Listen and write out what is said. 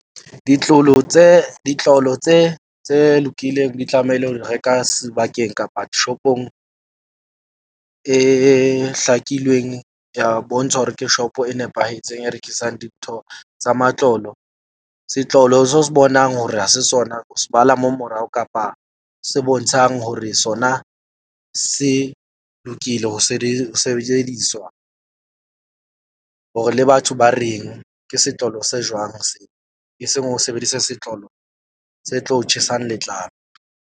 Ditlolo tse lokileng di tlamehile ho di reka sebakeng kapa shop-ong e hlakilweng ya bontshwa hore ke shop-o e nepahetseng e rekisang dintho tsa matlolo. Setlolo seo o se bonang hore ha se sona, o se bala mo morao kapa se bontshang hore sona se lokile. Ho se di sebediswa hore le batho ba reng ke setlolo se jwang se e seng ho sebedisa setloholo se tlo tjhesang letlalo.